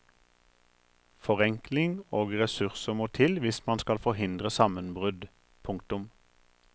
Forenkling og ressurser må til hvis man skal forhindre sammenbrudd. punktum